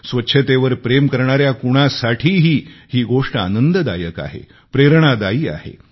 स्वच्छतेवर प्रेम करणाऱ्या कुणासाठीही ही गोष्ट आनंददायक आहे प्रेरणादायी आहे